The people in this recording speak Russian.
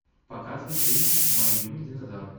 показывай фильм мой любимый динозавр